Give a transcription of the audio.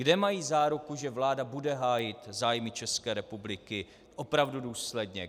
Kde mají záruku, že vláda bude hájit zájmy České republiky opravdu důsledně?